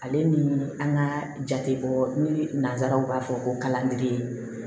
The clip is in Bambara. Ale ni an ka jate bɔ ni nansaraw b'a fɔ ko kalanden